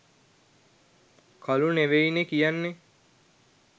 කළු නෙවෙයි නේ කියන්නේ